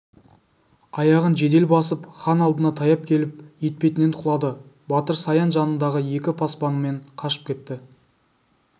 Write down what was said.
аяғын жедел басып хан алдына таяп келіп етпетінен құлады батыр саян жанындағы екі пасбаныменен қашып кетті